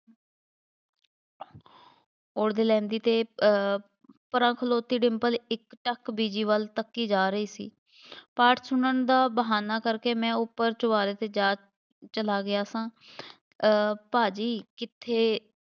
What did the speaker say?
ਉਧੇੜ ਲੈਂਦੀ ਅਤੇ ਅਹ ਪਰ੍ਹਾ ਖਲੋਤੀ ਡਿੰਪਲ ਇੱਕ ਅੱਖ ਬੀਜੀ ਵੱਲ ਤੱਕੀ ਜਾ ਰਹੀ ਸੀ, ਪਾਠ ਸੁਣਨ ਦਾ ਬਹਾਨਾ ਕਰਕੇ ਮੈਂ ਉੱਪਰ ਚੁਬਾਰੇ 'ਤੇ ਜਾ ਚਲਾ ਗਿਆ ਸਾਂ ਅਹ ਭਾਅ ਜੀ ਕਿੱਥੇ